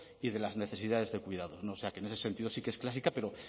y de las necesidades de cuidado o sea que en ese sentido sí que es clásica pero